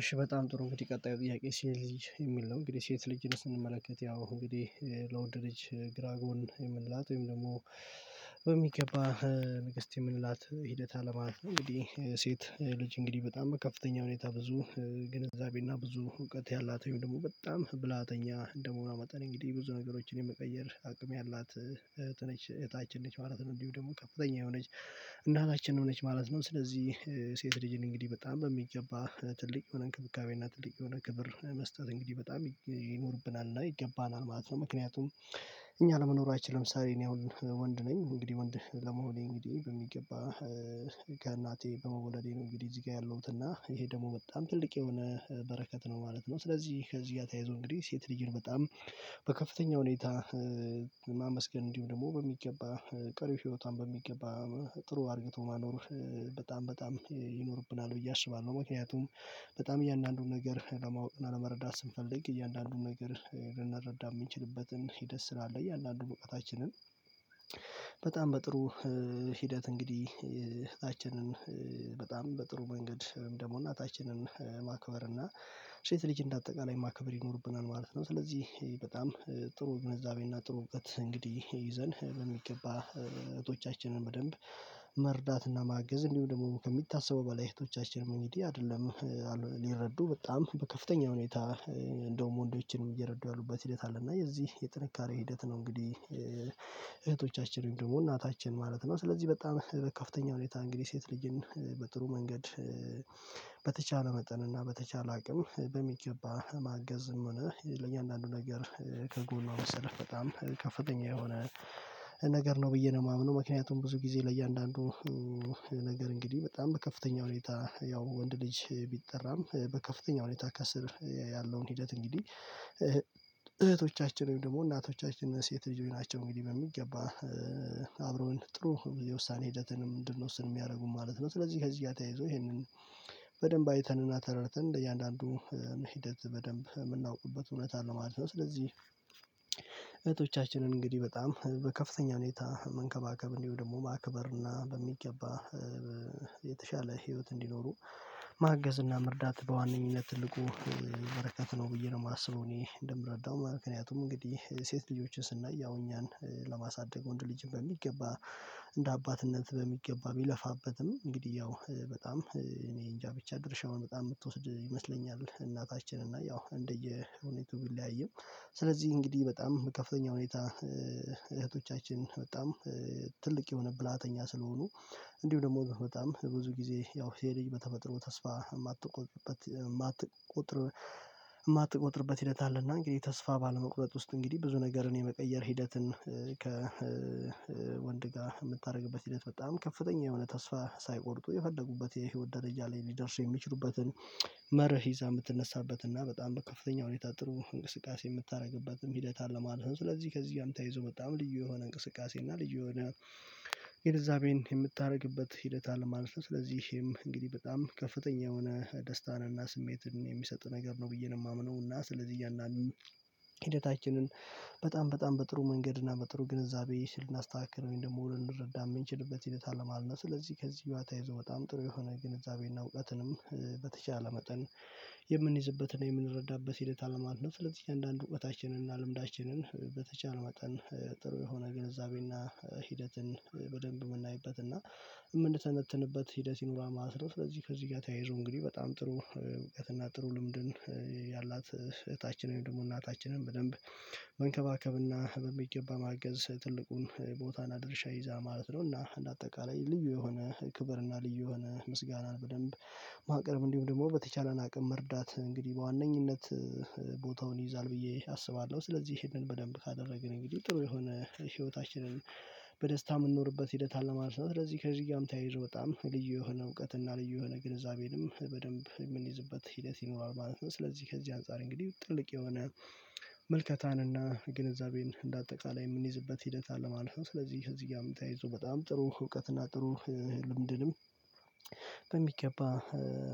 እሺ በጣም ጥሩ እንግዲህ ቀጣዩ ጥያቄ ሴት ልጅ? የሚል ነው እንግዲህ ሴት ልጅን ስንመለከት ያው እንግዲህ ለወንድ ልጅ ግራ ጎን የምንላት ወይም ደግሞ በሚገባ ንግስት የምንላት ሂደት አለ ማለት ነው። እንግዲህ ሴት ልጅ እንግዲህ በጣም ከፍተኛ ሁኔታ ብዙ ግንዛቤና ብዙ እውቀት ያላት ወይም ደግሞ በጣም ብላተኛ እንደመሆኑ መጠን እንግዲህ ብዙ ነገሮችን የመቀየር አቅም ያላት እህት ነች። እህታችን ነች ማለት ነው። እንዲሁ ደግሞ ከፍተኛ የሆነች እናታችን ሆነች ማለት ነው። ስለዚህ ሴት ልጅን እንግዲህ በጣም የሚገባ ትልቅ የሆነ እንክብካቤና ትልቅ የሆነ ክብር መስጠት እንግዲህ በጣም ይኖርብናል። እና ይገባናል ማለት ነው። ምክንያቱም እኛ ለመኖራችን ለምሳሌ እኔ አሁን ወንድ ነኝ እንግዲህ ወንድ ለመሆኔ እንግዲህ በሚገባ ከእናቴ በመወለዴ ነው። እንግዲህ እዚህ ጋር ያለሁት እና ይሄ ደግሞ በጣም ትልቅ የሆነ በረከት ነው ማለት ነው። ስለዚህ ከዚህ ጋር ተያይዞ እንግዲህ ሴት ነው በጣም በከፍተኛ ሁኔታ ማመስገን እንዲሁም ደግሞ በሚገባ ቀሪ ህይወቷን በሚገባ ጥሩ አድርግቶ ማኖር በጣም በጣም ይኖርብናል። ብዬ አስባለሁ ምክንያቱም በጣም እያንዳንዱን ነገር ለማወቅ እና ለመረዳት ስንፈልግ እያንዳንዱን ነገር ልንረዳ የምንችልበትን ሂደት ስላለ እያንዳዱ እውቀታችንን በጣም በጥሩ ሂደት እንግዲህ እህታችንን በጣም በጥሩ መንገድ ደግሞ እናታችንን ማክበር እና ሴት ልጅ እንዳጠቃላይ የማከብር ይኖርብናል። ማለት ነው። ስለዚህ በጣም ጥሩ ግንዛቤ ጥሩ እውቀት እንግዲህ ይዘን በሚገባ እህቶቻችንን በደንብ መርዳትና ማገዝ እንዲሁ ደግሞ ከሚታሰበው በላይ እህቶቻችን እንግዲህ አይደለም ሊረዱ በጣም በከፍተኛ ሁኔታ እንደውም ወንዶችንም እየረዱ ያሉበት ሂደት አለ። እና የዚህ የጥንካሬ ሂደት ነው እንግዲህ እህቶቻችን ደግሞ እናታችን ማለት ነው። ስለዚህ በጣም በከፍተኛ ሁኔታ እንግዲህ ሴት ልጅን በጥሩ መንገድ በተቻለ መጠን እና በተቻለ አቅም በሚገባ ማገዝም ሆነ ለእያአንዳንዱ ነገር ከጎንዋ መሰለፍ በጣም ከፍተኛ የሆነ ነገር ነው። ብዬ ነው የማምነው ምክንያቱም ብዙ ጊዜ ለእያንዳንዱ ነገር እንግዲህ በጣም በከፍተኛ ሁኔታ ያው ወንድ ልጅ ቢጠራም በከፍተኛ ሁኔታ ከስር ያለውን ሂደት እንግዲህ እህቶቻችን ወይም ደግሞ እናቶቻችን ሴት ልጅ ናቸው። እንግዲህ በሚገባ አብረውን ጥሩ የውሳኔ ሂደትንም እንድንወስን የሚያደርጉን ማለት ነው። ስለዚህ ከዚህ ጋር ተያይዞ ይሄንን በደንብ አይተንና ተረድተን ለእያንዳንዱ ሂደት በደንብ የምናውቁበት እውነት ሁነት ማለት ነው። ስለዚህ እህቶቻችንን እንግዲህ በጣም በከፍተኛ ሁኔታ መንከባከብ እንዲሁ ደግሞ ማክበርና በሚገባ የተሻለ ህይወት እንዲኖሩ ማገዝና መርዳት በዋነኝነት ትልቁ በረከት ነው። ብዬ ነው የማስረው እኔ እንደምረዳው ማት ምክንያቱም እንግዲህ ሴት ልጆችን ስናይ ያው እኛን ለማሳደግ ወንድ ልጅን በሚገባ እንደ አባትነት በሚገባ ቢለፋበትም እንግዲህ ያው በጣም እኔ እንጃ ብቻ ድርሻውን በጣም የምትወስድ ይመስለኛል። እናታችን እና ያው እንደየሁኔቱ ቢለያይም ስለዚህ እንግዲህ በጣም ከፍተኛ ሁኔታ እህቶቻችን በጣም ትልቅ የሆነ ብላተኛ ስለሆኑ እንዲሁ ደግሞ በጣም ብዙ ጊዜ ያው ሴት ልጅ በተፈጥሮ ተስፋ የማትቆጥበት የማትቆጥር የማትቆጥርበት ሂደት አለና እንግዲህ ተስፋ ባለመቁረጥ ውስጥ እንግዲህ ብዙ ነገርን የመቀየር ሂደትን ከ ወንድ ጋር የምታደርግበት ሂደት በጣም ከፍተኛ የሆነ ተስፋ ሳይቆርጡ የፈለጉበት የህይወት ደረጃ ላይ ሊደርሱ የሚችሉበትን መርህ ይዛ የምትነሳበት እና በጣም በከፍተኛ ሁኔታ ጥሩ እንቅስቃሴ የምታደርግበትም ሂደት አለ ማለት ነው። ስለዚህ ከዚህ ጋር ተይዞ በጣም ልዩ የሆነ እንቅስቃሴ እና ልዩ የሆነ ግንዛቤን የምታደርግበት ሂደት አለ ማለት ነው። ስለዚህም እንግዲህ በጣም ከፍተኛ የሆነ ደስታንና ስሜትን የሚሰጥ ነገር ነው። ብዬ ነው የማምነው እና ስለዚህ እያንዳንዱ ሂደታችንን በጣም በጣም በጥሩ መንገድና በጥሩ ግንዛቤ ስልና ልናስተካክረኝ ወይም ደግሞ ልንረዳ የምንችልበት ሂደት አለ ማለት ነው። ስለዚህ ከዚህ ጋር ተያይዞ በጣም ጥሩ የሆነ ግንዛቤና እውቀትንም በተቻለ መጠን የምንይዝበትን የምንረዳበት ሂደት አለ ማለት ነው። ስለዚህ አንዳንድ ውበታችንን እና ልምዳችንን በተቻለ መጠን ጥሩ የሆነ ግንዛቤ ሂደትን በደንብ የምናይበትና የምንተነትንበት ሂደት ይኑረዋል ማለት ነው። ስለዚህ ከዚህ ጋር ተያይዞ እንግዲህ በጣም ጥሩ እውቀትና ጥሩ ልምድን ያላት እህታችንን ደግሞ እናታችንን በደንብ መንከባከብና በሚገባ ማገዝ ትልቁን ቦታን አድርሻ ይይዛል ማለት ነው። እና እንደ አጠቃላይ ልዩ የሆነ ክብርና ልዩ የሆነ ምስጋናን በደንብ ማቅረብ እንዲሁም ደግሞ በተቻለን አቅም መርዳት እንግዲህ በዋነኝነት ቦታውን ይይዛ። ብዬ አስባለሁ። ስለዚህ ይሄንን በደንብ ካደረግን እንግዲህ ጥሩ የሆነ ህይወታችንን በደስታ የምንኖርበት ሂደት አለ ማለት ነው። ስለዚህ ከዚህ ጋርም ተያይሮ በጣም ልዩ የሆነ እውቀት እና ልዩ የሆነ ግንዛቤንም በደንብ የምንይዝበት ሂደት ይኖራል ማለት ነው። ስለዚህ ከዚህ አንፃር እንግዲህ ጥልቅ የሆነ ምልከታንና ግንዛቤን እንደ አጠቃላይ የምንይዝበት ሂደት አለ። ማለት ነው ስለዚህ እዚጋም ተያይዞ በጣም ጥሩ እውቀትና ጥሩ ህልም ድልም በሚገባ